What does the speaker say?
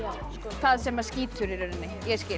það sem að skýtur í rauninni